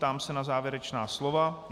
Ptám se na závěrečná slova.